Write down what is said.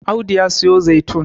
Audu ya siyo zaitun